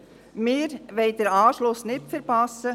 Wir wollen den Anschluss nicht verpassen.